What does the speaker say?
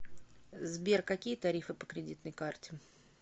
сбер какие тарифы по кредитной карте